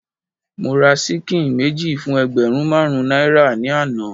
Mo ra ṣíkìn méjì fún ẹgbẹ̀rún marun náírà ni àná.